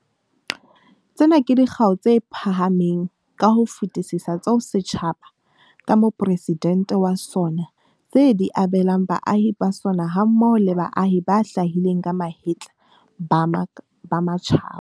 Tsena ke dikgau tse phahameng ka ho fetisisa tseo setjhaba, ka Mopresidente wa sona, se di abelang baahi ba sona hammoho le baahi ba hlahileng ka mahetla ba matjhaba.